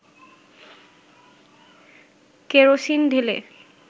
kerosene ঢেলে